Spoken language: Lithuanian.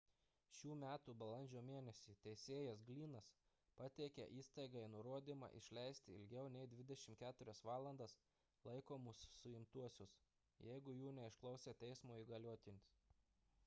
šių metų balandžio mėnesį teisėjas glynnas pateikė įstaigai nurodymą išleisti ilgiau nei 24 valandas laikomus suimtuosius jeigu jų neišklausė teismo įgaliotinis